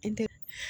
I tɛ